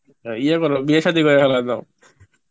তা ইয়ে কর বিয়ে সাদি করে ফেলায়দাও